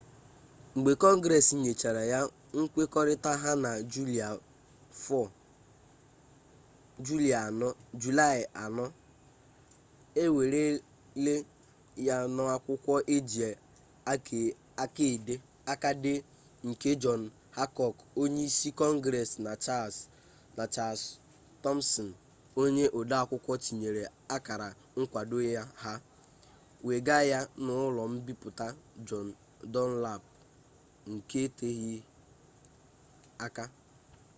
mgbe kọngres nyechara ya nkwekọrịta ha na julaị 4 e weere ya n'akwụkwọ eji aka dee nke jọn hankọk onye isi kọngres na chals tọmsin onye odeakwụkwọ tinyere akara nkwado ha wega ya n'ụlọ mbipụta jọn dunlap nke eteghi aka